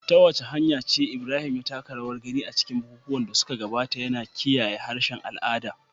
Ta wace hanya ce Ibrahim ya taka rawar gani a cikin bukukuwan da suka gabata, yana kiyaye harshen al'ada?